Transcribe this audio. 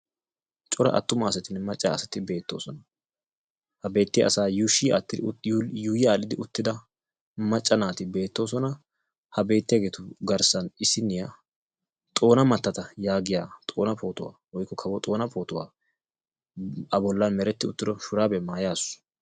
cora attumaasatinne macca asati beettoosna, ha beetiyaa asayuushshi aadhdhidi uttida, yuuyyi aadhdhidi uttida macca naati beettoosna, ha beettiyaageetu garssanaa maccay nayiyaa issiniyaa Xoona matata yaagiya xoona pootuwaa woykko Kawo Xoona pootuwa a bollan meretti uttido shuraabiya maayasu.